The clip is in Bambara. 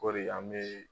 Kɔri an bɛ